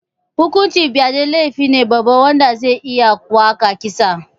Hukuncin fyade laifine babba wanda zai iya kaiwa ga kisa